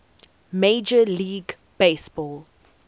major league baseball